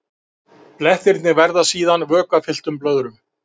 Blettirnir verða síðan vökvafylltum blöðrum.